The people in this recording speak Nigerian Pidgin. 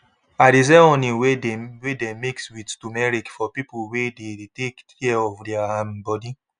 i de sell honey wey dey wey dey mix with tumeric for people wey de take care of their um body